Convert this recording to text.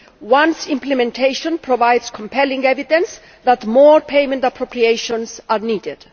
once implementation provided compelling evidence that more payment appropriations were needed.